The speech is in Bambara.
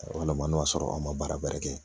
Walama n'o y'a sɔrɔ an ma baara bɛrɛ kɛ